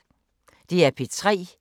DR P3